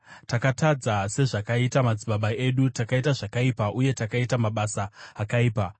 Takatadza, sezvakaita madzibaba edu; takaita zvakaipa uye takaita mabasa akaipa.